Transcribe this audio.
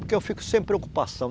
Porque eu fico sem preocupação.